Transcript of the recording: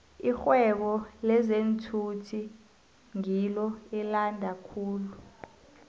irhwebo lezeenthuthi ngilo elande khulu